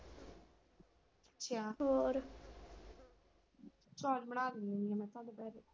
ਹੋਰ ਚੌਲ ਬਣਾ .